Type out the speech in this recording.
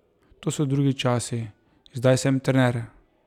To so drugi časi, zdaj sem trener.